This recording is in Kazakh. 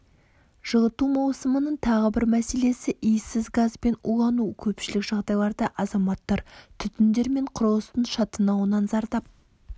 жылыту маусымының тағы бір мәселесі иіссіз газбен улану көпшілік жағдайларда азаматтар түтіндер мен құрылыстың шатынауынан зардап